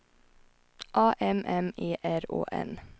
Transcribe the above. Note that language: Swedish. A M M E R Å N